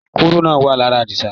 Kúrúnà ló wà ní ara Àdìsá.